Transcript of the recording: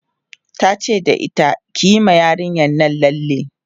tace da ita "kiyi ma yarinyan Nan lalle!